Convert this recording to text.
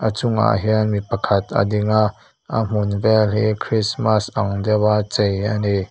a chungah hian mi pakhat a dinga a hmun hma vel hi christmas an deuh a chei a ni.